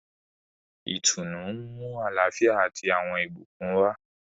Ìtùnú nmu àlàáfíà ati awọn ìbùkún wa.